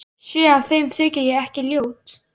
Sé að þeim þykir ég ekki ljót.